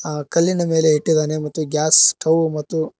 ಆ ಕಲ್ಲಿನ ಮೇಲೆ ಇಟ್ಟಿದ್ದಾನೆ ಮತ್ತು ಗ್ಯಾಸ್ ಸ್ಟವ್ ಮತ್ತು--